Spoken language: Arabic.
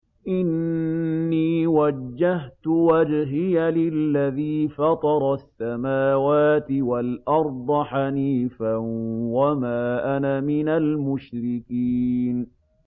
إِنِّي وَجَّهْتُ وَجْهِيَ لِلَّذِي فَطَرَ السَّمَاوَاتِ وَالْأَرْضَ حَنِيفًا ۖ وَمَا أَنَا مِنَ الْمُشْرِكِينَ